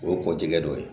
O ye kɔkɔtigi dɔ ye